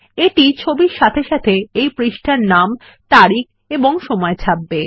এইটি ছবির সাথে সাথে এই পৃষ্ঠার নাম তারিখ এবং সময় ছাপবে